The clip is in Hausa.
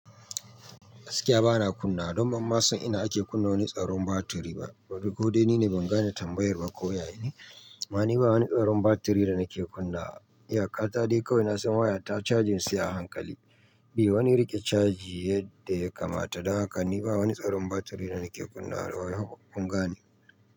Gaskiya bana kunna, don ban ma san ina ake kunna wani tsaron batiri ba. Ko dai nine ban gane tambayar ba ko ya ya ne? Ma ni ba wani tsaron batiri da nake kunna. Iyaka ta dai kawai na san waya ta cajin sai a hankali. Be wani rike caji yadda ya kamata. Dan haka ni ba wani tsaron batiri da nake kunna. Yazan in gane.